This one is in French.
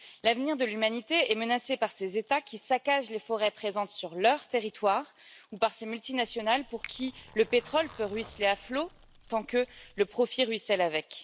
L'avenir de l'humanité est menacé par ces États qui saccagent les forêts présentes sur leur territoire ou par ces multinationales pour qui le pétrole peut ruisseler à flot tant que le profit ruisselle avec.